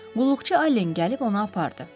Qulluqçu Allen gəlib onu apardı.